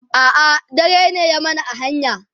a'a dare ne ya mana a hanya